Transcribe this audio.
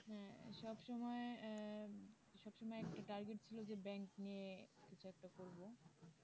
হ্যাঁ সবসময় সব সময় একটা target ছিল যে ব্যাংক নিয়ে কিছু একটা করবো